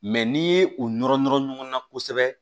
Mɛ n'i ye o nɔrɔ nɔrɔ ɲɔgɔnna kosɛbɛ